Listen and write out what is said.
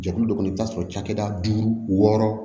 Jɛkulu dɔ kɔnɔ i bɛ t'a sɔrɔ cakɛda duuru wɔɔrɔ